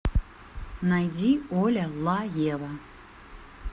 найди оля ла ева